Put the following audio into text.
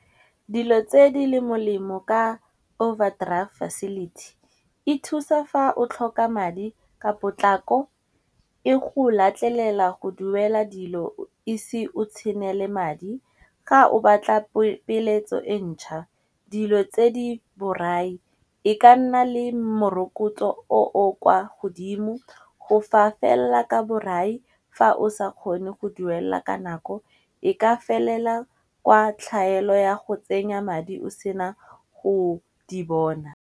Dilo tse di le molemo ka overdraft facility e thusa fa o tlhoka madi ka potlako, e go latlelela go duela dilo o ise o tshele madi. Ka o batla peeletso e ntšha dilo tse di borai e ka nna le morokotso o o kwa godimo go fa fella ka borai fa o sa kgone go duela ka nako, e ka felela kwa tlhaelo ya go tsenya madi o sena go di bona.